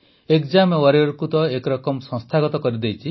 exam ୱାରିୟରକୁ ତ ଏକ ରକମ ସଂସ୍ଥାଗତ କରିଦେଇଛି